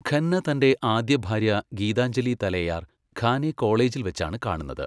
ഖന്ന തന്റെ ആദ്യഭാര്യ ഗീതാഞ്ജലി തലേയാർ ഖാനെ കോളേജിൽ വെച്ചാണ് കാണുന്നത്.